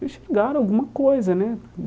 E chegaram alguma coisa, né?